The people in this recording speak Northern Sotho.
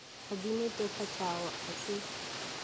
a di netefatšago a se